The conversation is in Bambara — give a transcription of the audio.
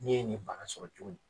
N'i ye nin baara sɔrɔ cogo